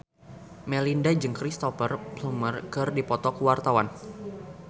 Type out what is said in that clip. Melinda jeung Cristhoper Plumer keur dipoto ku wartawan